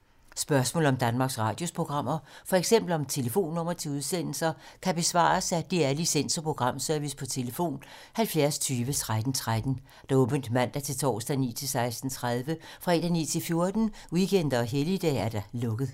Spørgsmål om Danmarks Radios programmer, f.eks. om telefonnumre til udsendelser, kan besvares af DR Licens- og Programservice: tlf. 70 20 13 13, åbent mandag-torsdag 9.00-16.30, fredag 9.00-14.00, weekender og helligdage: lukket.